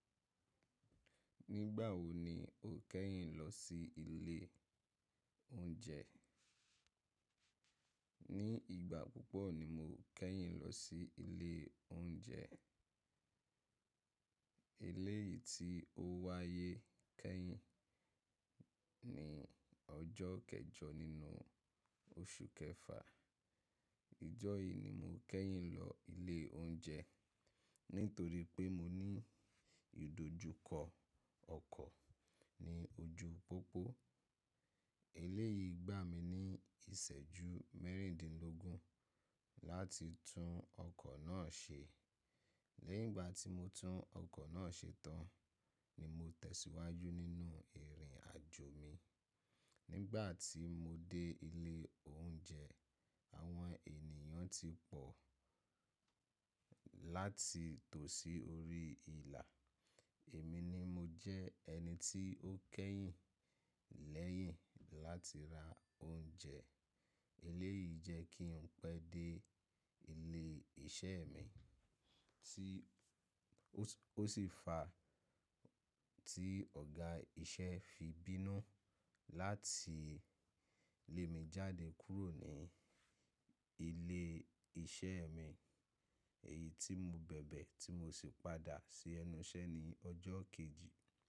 Nígbà wo ni o kẹ́yìn lọ sí ilé oúnjẹ? Ní ìgbà púpọ̀ ni mo kẹ́yìn lọ sí ilé oúnjẹ. Eléyìí tí ó wáyé kẹ́yìn ní ọjọ́ kẹjọ nínú oṣù kẹfà. Ìjọ́ yìí ni mo kẹ́yìn lọ ilé oúnjẹ nítorí pé mo ní ìdojúkọ ọkọ̀ ní ojú pópó. Eléyìí gbà mí ní ìṣẹ́jú mẹ́rìndínlógún láti tún ọkọ̀ náà ṣe. Lẹ́yìn ìgbà tí mo tún ọkọ̀ náà ṣe tán ni mo tẹ̀síwájú nínú ìrìn àjò mi. Nígbà tí mo dé ilé oúnjẹ, àwọn ènìyàn ti pọ̀ láti tò sí orí ìlà. Èmi ni mo jẹ́ ẹni tí ó kẹ́yìn lẹ́yìn láti ra oúnjẹ. Eléyìí jẹ́ kí n pẹ́ dé ilé iṣẹ́ mi tí ó, ó sì fa tí ọ̀gá iṣẹ́ fi bínú láti lé mi jáde kúrò ní ilé iṣẹ́ mi. Èyí tí mo bẹ̀bẹ̀ tí mo sì padà sí ẹnu iṣẹ́ ní ọjọ́ kejì.